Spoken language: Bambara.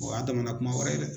O y'a damana kuma wɛrɛ ye dɛ.